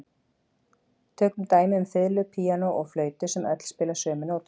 Tökum dæmi um fiðlu, píanó og flautu sem öll spila sömu nótuna.